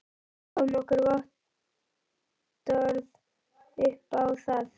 Við fáum vottorð upp á það.